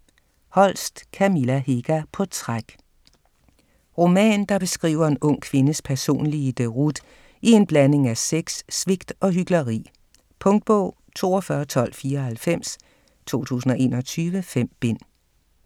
Holst, Kamilla Hega: På træk Roman, der beskriver en ung kvindes personlige deroute i en blanding af sex, svigt og hykleri. Punktbog 421294 2021. 5 bind.